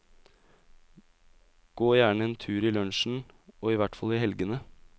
Gå gjerne en tur i lunsjen, og i hvert fall i helgene.